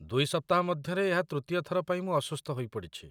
ଦୁଇ ସପ୍ତାହ ମଧ୍ୟରେ ଏହା ତୃତୀୟ ଥର ପାଇଁ ମୁଁ ଅସୁସ୍ଥ ହୋଇପଡ଼ିଛି।